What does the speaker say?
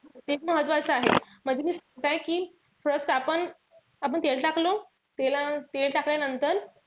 ते महत्वाचं आहे. म्हणजे काय कि थोडस आपण आपण तेल टाकलं. तेल टाकल्यानंतर,